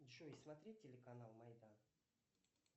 джой смотреть телеканал майдан